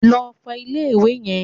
Lọ fọ ilé ìwẹ̀!